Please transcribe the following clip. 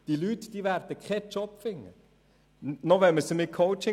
Die Leute werden keinen Job finden, auch nicht mithilfe von Coachings.